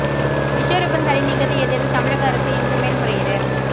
விஸ்வரூபம் தடை நீக்கத்தை எதிர்த்து தமிழக அரசு இன்று மேல் முறையீடு